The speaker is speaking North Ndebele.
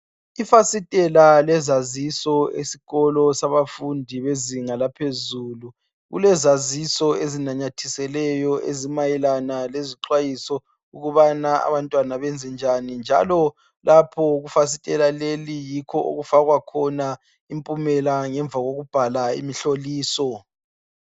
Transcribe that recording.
Ifasitela lezaziso esikolo sabafundi bezinga laphezulu kulezaziso ezinanyathiselweyo ezimayelana lezi xwayiso ukubana abantwana benze njani njalo lapho kufasitela leli yikho okufakwa khona impumela ngemva kokubhala imihloliso.